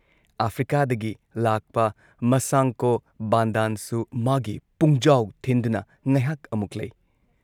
ꯑꯥꯐ꯭ꯔꯤꯀꯥꯗꯒꯤ ꯂꯥꯛꯄ ꯃꯥꯁꯥꯡꯀꯣ ꯕꯥꯟꯗꯥꯟꯁꯨ ꯃꯥꯒꯤ ꯄꯨꯡꯖꯥꯎ ꯊꯤꯟꯗꯨꯅ ꯉꯩꯍꯥꯛ ꯑꯃꯨꯛ ꯂꯩ